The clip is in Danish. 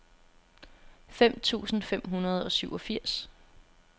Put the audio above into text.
fem tusind fem hundrede og syvogfirs